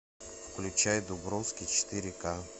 включай дубровский четыре ка